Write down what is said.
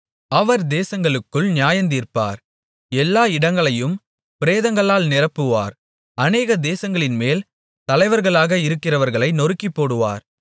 அவர் தேசங்களுக்குள் நியாயந்தீர்ப்பார் எல்லா இடங்களையும் பிரேதங்களால் நிரப்புவார் அநேக தேசங்களின்மேல் தலைவர்களாக இருக்கிறவர்களை நொறுக்கிப்போடுவார்